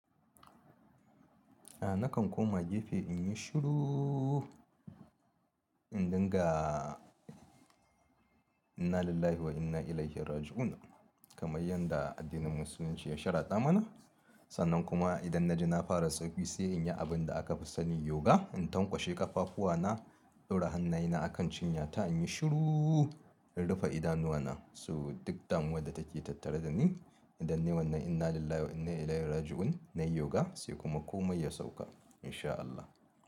Nakan koma gefe in yi shuruu, in dinga inna lillahi wa inna ilaihi raji'un. Kaman yadda addinin Musulunci ya sharaɗa mana. Sannan kuma idan na ji na fara sauki sai in yi abin da aka fi sani yoga. In tankwashe ƙafafuwana, ɗaura hannayena a kan cinyata in yi shuruu, in rufe idanuwana so duk damuwar da take tattare da ni. Idan ne wannan inna lillahi wa inna ilaihi raji'un nayi yoga sai kuma komai ya sauka in sha Allah.